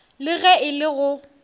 le ge e le go